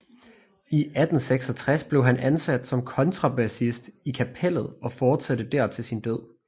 I 1866 blev han ansat som kontrabassist i Kapellet og fortsatte der til sin død